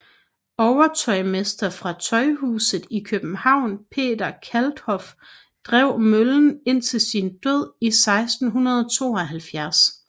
Overtøjmester fra Tøjhuset i København Peter Kalthoff drev møllen indtil sin død i 1672